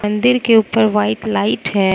मंदिर के ऊपर व्हाइट लाइट है।